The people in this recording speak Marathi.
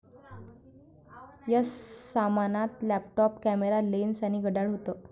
या सामानात लॅपटॉप, कॅमेरा, लेन्स आणि घड्याळ होतं.